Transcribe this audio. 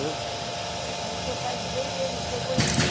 Mas o seu pai veio e ele chegou em que